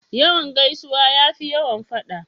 Yawan gaisuwa ya fi yawan faɗa.